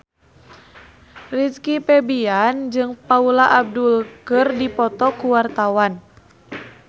Rizky Febian jeung Paula Abdul keur dipoto ku wartawan